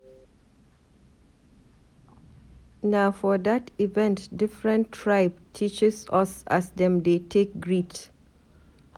Na for dat event differn tribe teaches us as dem dey take greet.